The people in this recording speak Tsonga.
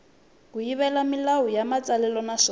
kayivela milawu ya matsalelo naswona